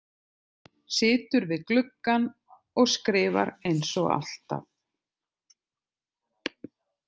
Situr við gluggann og skrifar eins og alltaf.